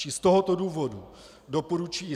Čili z tohoto důvodu doporučuji